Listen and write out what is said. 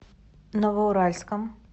новоуральском